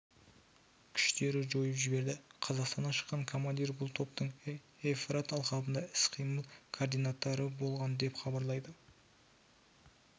күштері жойып жіберді қазақстаннан шыққан командир бұл топтың евфрат алқабында іс-қимыл координаторы болған деп хабарлайды